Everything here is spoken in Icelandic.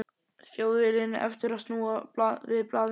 Þjóðviljinn eftir að snúa við blaðinu.